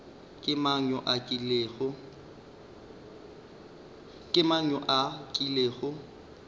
ke mang yo a kilego